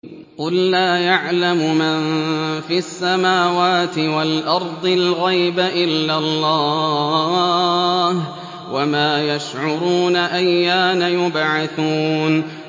قُل لَّا يَعْلَمُ مَن فِي السَّمَاوَاتِ وَالْأَرْضِ الْغَيْبَ إِلَّا اللَّهُ ۚ وَمَا يَشْعُرُونَ أَيَّانَ يُبْعَثُونَ